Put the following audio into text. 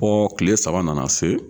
kile saba nana se.